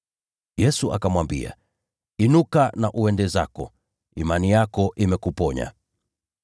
Yesu akamwambia, “Inuka na uende zako, imani yako imekuponya.”